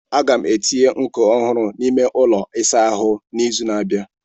Aga m etinye nkọ ọhụrụ n'ime ụlọ ịsa ahu n'izu na-abịa.